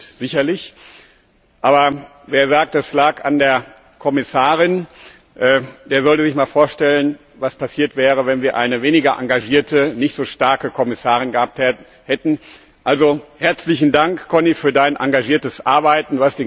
Das stimmt sicherlich. Aber wer sagt, es lag an der Kommissarin, der sollte sich mal vorstellen, was passiert wäre, wenn wir eine weniger engagierte, nicht so starke Kommissarin gehabt hätten. Also Herzlichen Dank, Connie, für Dein engagiertes Arbeiten.